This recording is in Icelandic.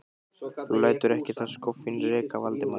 Þú lætur ekki það skoffín reka Valdimar!